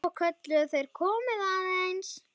Svo kölluðu þeir: Komiði aðeins!